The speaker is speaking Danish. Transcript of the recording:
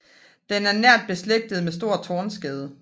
Den er nært beslægtet med stor tornskade